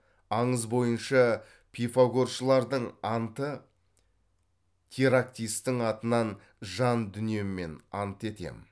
аңыз бойынша пифагоршылардың анты терактистің атынан жан дүниеммен ант етемін